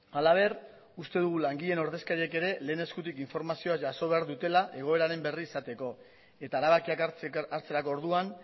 halaber uste dugu langileen ordezkariek ere lehen eskutik informazioa jaso behar dutela egoeraren berri izateko eta erabakiak hartzerako orduan